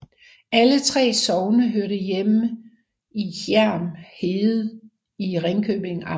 Alle 3 sogne hørte til Hjerm Herred i Ringkøbing Amt